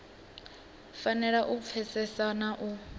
fanela u pfesesa na u